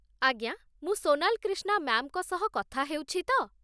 ଆଜ୍ଞା, ମୁଁ ସୋନାଲ କ୍ରିଷ୍ଣା ମ୍ୟାମ୍‌ଙ୍କୁ ସହ କଥା ହେଉଛି ତ?